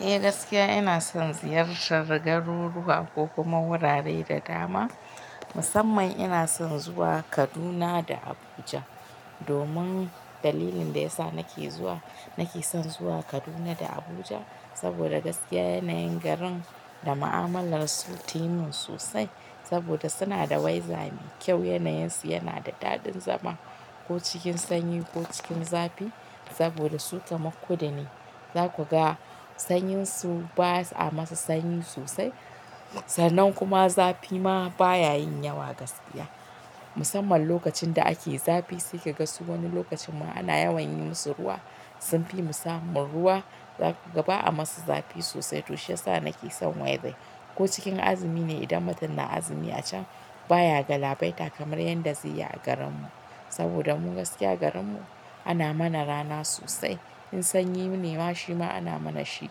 Eh gaskiya ina son ziyartar garuruwa ko kuma wurare da dama. Musamman ina son zuwa Kaduna da Abuja. Domin dalilin da ya sa nake zuwa, nake son zuwa Kaduna da Abuja saboda gaskiya yanayin garin da ma'amalar su ta yi min sosai saboda suna da waiza mai kyau. Yanayinsu yana da daɗin zama ko cikin sanyi ko cikin zafi. Saboda su kamar kudu ne, za ku ga sanyin su ba'a masa sanyi sosai. Sannan kuma zafi ma ba ya yin yawa gaskiya. Musamman lokacin da ake zafi, sai ka ga su wani lokacin ma ana yawan yi musu ruwa, sunfi mu samun ruwa. Za ku ga ba'a masu zafi sosai. To shiyasa nake son waidan ko cikin azumi ne, idan mutum na azumi a can, baya galabaita kamar yanda zai yi a garinmu. Saboda mu gaskiya garinmu ana mana rana sosai. In sanyi ne ma, shi ma ana mana shi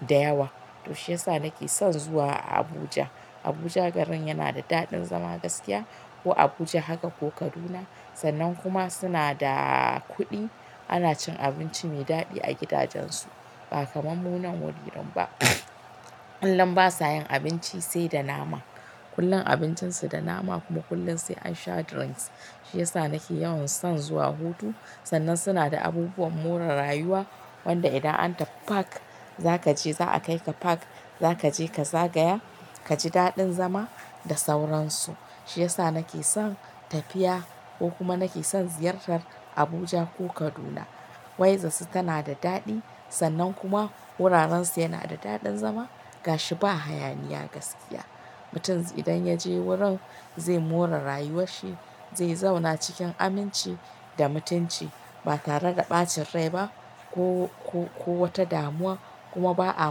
da yawa. To shiyasa nake son zuwa Abuja. Abuja garin yana da daɗin zama gaskiya. Ko Abuja haka ko Kaduna. Sannan kuma suna da kuɗi. Ana cin abinci mai daɗi a gidajensu ba kamar mu nan wurin ba. Kullum basa yin abinci sai da nama. Kullum abincinsu da nama kuma kullum sai an sha drinks. Shiyasa nake yawan son zuwa hutu. Sannan suna da abubuwan more rayuwa wanda idan an tafi park, za ka je za a kai ka park, za ka je ka zagaya, ka ji daɗin zama da sauransu. Shiyasa nake son tafiya ko kuma nake son ziyartar Abuja ko Kaduna. Waizansu tana da daɗi. Sannan kuma wurarensu yana da daɗin zama. Gashi ba hayaniya gaskiya. Mutum idan ya je wurin zai more rayuwarshi, zai zauna cikin aminci da mutunci ba tare da ɓacin rai ba ko, ko, ko wata damuwa. Kuma ba'a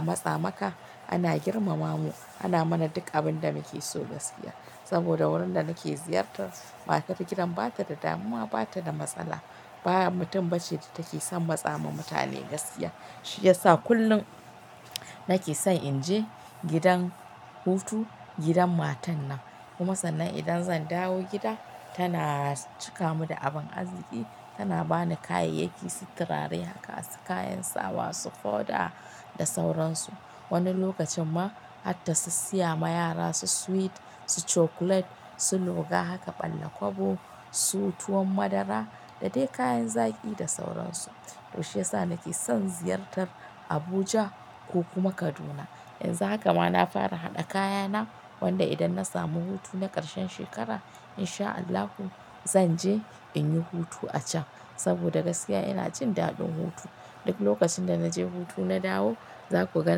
matsa maka. Ana girmama mu. Ana mana duk abin da muke so gaskiya. Saboda wurin da nake ziyarta, matar gidan bata da damuwa, bata da matsala. Ba mutum bace da take son matsa ma mutane gaskiya. Shiyasa kullum nake son in je gidan hutu, gidan matan nan. Kuma sannan idan zan dawo gida tana cika mu da abin arziki. Tana bani kayayyaki, su turare haka, su kayan sawa, su foɗa da sauransu. Wani lokacin ma har ta sis siya ma yara su sweet, su cokulet, su luga haka, ɓalla kwabo, su tuwon madara da dai kayan zaki da sauransu. To shiyasa nake son ziyartar Abuja ko kuma Kaduna. Yanzu haka ma na fara haɗa kayana. Wanda idan na samu hutu na karshen shekara in sha Allahu zan je in yi hutu a can. Saboda gaskiya ina jin daɗin hutu. Duk lokacin da naje hutu na dawo, za ku ga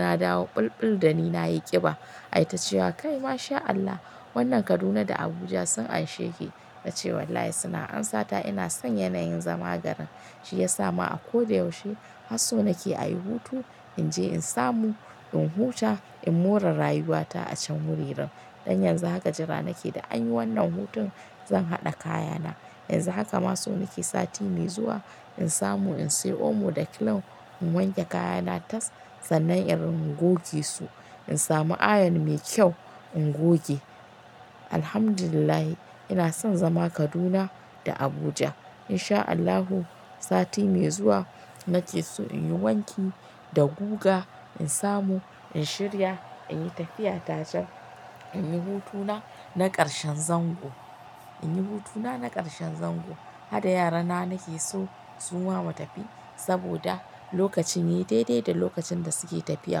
na dawo ɓulɓul dani na yi ƙiba. Ai ta ce wa "Kai masha Allah wannan Kaduna da Abuja sun anshe ki." Na ce wallahi suna amsata ina son yanayin zama garin. Shiyasa ma a koda yaushe har so nake a yi hutu. In je in samu, in huta, in more rayuwata a can wuririn. Dan yanzu haka jira nake da an yi wannan hutun zan haɗa kayana. Yanzu haka ma so nake sati mai zuwa in samu in siya omo ɗa kilin in wanke kayana tas. Sannan in goge su. In samu ayon mai kyau in goge. Alhamdulillahi ina son zama Kaduna da Abuja. In sha Allahu sati mai zuwa nake so in yi wanki da guga. In samu in shirya in yi tafiya ta can in yi hutuna na karshen zango. In yi hutuna na karshen zango. Hada yarana nake so suma mu tafi. Saboda lokacin yai daidai da lokacin da suke tafiya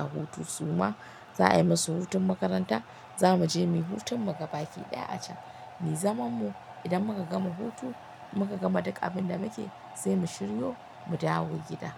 hutu. Suma za'a yi musu hutun makaranta. Za mu je mu yi hutun mu ga baki ɗaya a can. Muyi zamanmu idan muka gama hutu muka gama duk abin da muke, sai mu shiryo mu dawo gida.